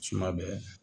Suma bɛ